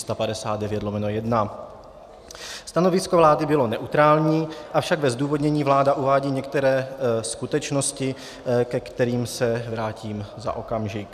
Stanovisko vlády bylo neutrální, avšak ve zdůvodnění vláda uvádí některé skutečnosti, ke kterým se vrátím za okamžik.